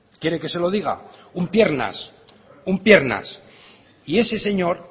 quiere que se lo diga un piernas un piernas y ese señor